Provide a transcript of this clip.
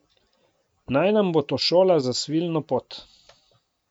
Naj nam bo to šola za svilno pot!